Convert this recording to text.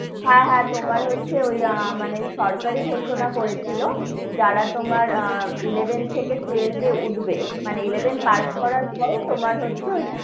হ্যা, হ্যা, তোমার হচ্ছে ওই মানে সরকারই ঘোষণা করেছিল, যারা তোমার আহ যারা তোমার eleven থেকে twelve এ উঠবে, মানে eleven pass করার পরে তোমার হচ্ছে,